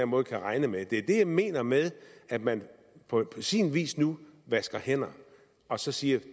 måde kan regne med det er det jeg mener med at man på sin vis nu vasker hænder og så siger